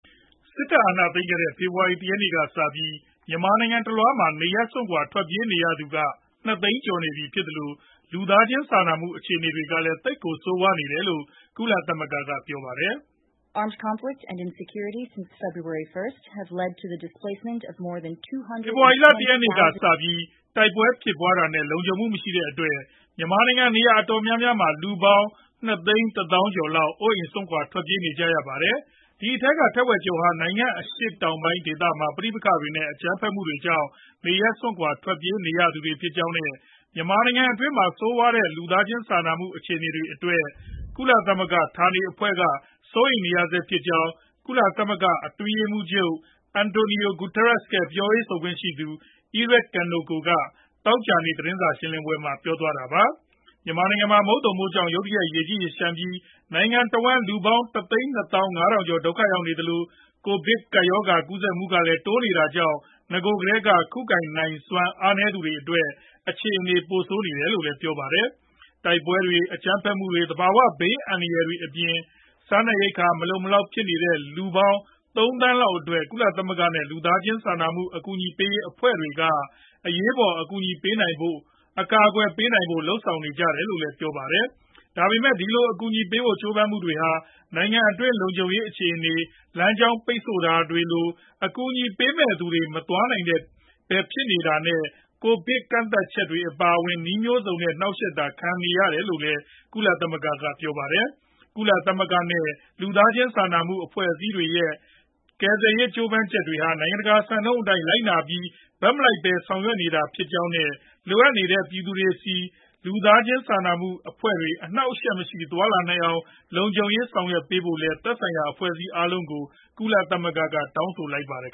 စစ်တပ်အာဏာသိမ်းခဲ့တဲ့ ဖေဖေါ်ဝါရီလ ၁ ရက်ကစပြီး မြန်မာနိုင်ငံ တလွှားမှာ နေရပ်စွန့်ခွါ ထွက်ပြေးရသူက ၂ သိန်းကျော်နေပြီဖြစ်သလို လူသားချင်းစာနာမှုအခြေနေကလည်း သိပ်ကိုဆိုးဝါးနေတယ်လို့ ကုလသမဂ္ဂက ပြောပါတယ်။ " ဖေဖေါ်ဝါရီလ ၁ ရက် နေ့ကစပြီး တိုက်ပွဲဖြစ်ပွါးတာနဲ့ လုံခြုံမှုမရှိတဲ့အတွက် မြန်မာနိုင်ငံ နေရာအတော်များများမှာ လူပေါင်း ၂၁၀ ၀၀၀ ကျော်လောက် အိုးအိမ်စွန့်ခွါထွက်ပြေးနေကြရပါတယ်။ ဒီအထဲက ထက်ဝက်ကျော်ဟာ နိုင်ငံ့အရှေ့တောင်ပိုင်းဒေသမှာ ပဋိပက္ခနဲ့ အကြမ်းဖက်မှုတွေကြောင့် နေရပ်စွန့်ခွါထွက်ပြေးရသူတွေဖြစ် ကြောင်းနဲ့ မြန်မာနိုင်ငံတွင်းက ဆိုးဝါးတဲ့ လူသားချင်းစာနာမှု အခြေနေအတွက် ကုလသမဂ္ဂဌာနေ အဖွဲ့တွေက စိုးရိမ်နေဆဲ ဖြစ်ကြောင်း ကုလအတွင်းရေးမှုးချုပ် Antonio Guterres ရဲ့ လက်ထောက်ပြောခွင့်ရ Eri Kaneko က သောကြာနေ့ သတင်းစာရှင်းလင်းပွဲမှာ ပြောပါတယ်" မြန်မာနိုင်ငံမှာ မုတ်သုန်မိုးကြောင့် ရုတ်တရက် ရေကြီးရေလျှံပြီး နိုင်ငံတဝန်း လူပေါင်း ၁၂၅ ၀၀၀ ကျော် ဒုက္ခရောက်နေသလို ကိုဗစ် ၁၉ ကူးစက်မှုကလည်း တိုးနေတာကြောင့် နဂိုကတည်းက ခုခံနိုင်စွမ်း အားနည်းနေသူတွေအတွက် အခြေနေပိုဆိုးနေတယ်လို့လည်း ပြောပါတယ်။ တိုက်ပွဲတွေ၊ အကြမ်းဖက်မှုတွေ၊ သဘာဝဘေးခံရမှုတွေ အပြင် စားနပ်ရိက္ခာမလုံမလောက် ဖြစ်နေတဲ့ လူပေါင်း ၃ သန်းလောက် အတွက် ကုလသမဂ္ဂနဲ့ လူသားချင်းစာနာမှုအကူညီပေးရေး မိတ်ဆွေအဖွဲ့တွေက အရေးပေါ် အကူအညီပေးနိုင်ဖို့နဲ့ အကာကွယ်ပေးနိုင်ဖို့ လုပ်ဆောင်နေကြတယ်လို့လည်း ပြောပါတယ်။ ဒါပေမယ့် ဒီလို အကူညီပေးဖို့ ကြိုးပမ်းမှုတွေဟာ နိုင်ငံတွင်းလုံခြုံရေးအခြေနေ၊ လမ်းကြောင်း ပိတ်ဆို့တာလို အကူညီပေးမယ့်သူတွေဆီ မသွားနိုင်ပဲ ဖြစ်နေတာနဲ့ ကိုဗစ် ကန့်သတ်ချက်တွေ အပါအဝင် နည်းမျိုးစုံနဲ့ နှောက်ယှက်တာ ခံနေရတယ်လို့ လည်း ကုလသမဂ္ဂက ပြောပါတယ်။ ကုလသမဂ္ဂနဲ့ လူသားချင်းစာနာမှုအဖွဲ့အစည်းတွေရဲ့ ကယ်ဆယ်ရေးကြိုးပမ်းချက်တွေဟာ နိုင်ငံတကာ စံနှုန်းအတိုင်း လိုက်နာပြီး ဘက်မလိုက်ပဲ ဆောင်ရွက်နေတာဖြစ်ကြောင်းနဲ့ လိုအပ်နေတဲ့ပြည်သူတွေဆီ လူသားချင်းစာနာမှု အဖွဲ့တွေ အနှောက်အယှက်မရှိ သွားနိုင်အောင် လုံခြုံရေး လုပ်ဆောင်ပေးကြဖို့ သက်ဆိုင်တဲ့ အဖွဲ့အားလုံးကို ကုလသမဂ္ဂက တောင်းဆိုလိုက်ပါတယ်